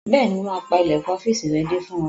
Bẹ́ẹ̀ni, mo máa pa ilẹ̀kùn ọ́fìsì rẹ dé fún ọ